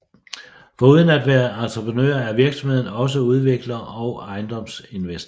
Foruden at være entreprenør er virksomheden også udvikler og ejendomsinvestor